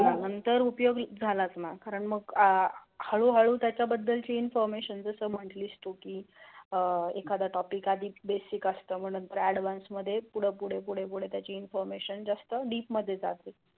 तर उपयोग झालच ना करण मग अह हलू हलू त्यचा बद्द्लची INFORMATION अह एकदा टॉपिक आदी बेसिक असत एडव्हान्स मध्ये फुडे फुडे फुडे त्याची information जास्त डीप मध्ये जाते.